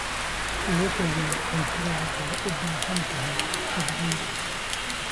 Levo weyn, cuntadu waxay u baahan tahay xirfado gaar ah.